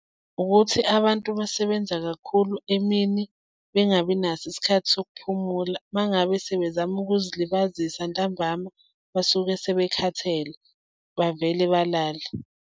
Ukuthi abantu basebenza kakhulu emini bengabi naso isikhathi sokuphumula. Uma ngabe sebezama ukuzilibazisa ntambama basuke sebekhathele, bavele balale.